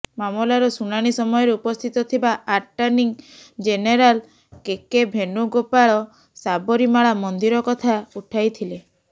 ମାମଲାର ଶୁଣାଣି ସମୟରେ ଉପସ୍ଥିତ ଥିବା attorney general K K Venugopal Sabarimala ମନ୍ଦିର କଥା ଉଠାଇଥିଲେ